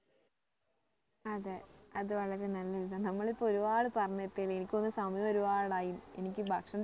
അതെ അത് വളരെ നല്ല ഒരു ഇതാ നമ്മള് ഇപ്പൊ ഒരുപാട് പറഞ്ഞത്തി എനിക്ക് തോന്നുന്ന് സമയം ഒരുപാട് ആയിന്ന് എനിക്ക് ഭക്ഷണത്തിന്